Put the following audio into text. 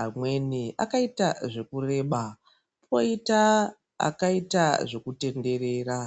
amweni akaita zvekureba koita akaita zvekutenderera.